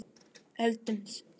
Eldumst saman.